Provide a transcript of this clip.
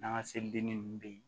N'an ka selidennin nunnu bɛ ye